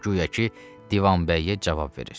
Guya ki, Divanbəyə cavab verir.